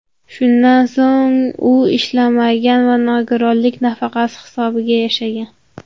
Shundan so‘ng u ishlamagan va nogironlik nafaqasi hisobiga yashagan.